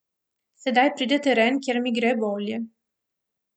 Sedaj pride teren, kjer mi gre bolje.